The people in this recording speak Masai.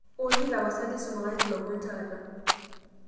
olly tapasali isumakaki ilomon taata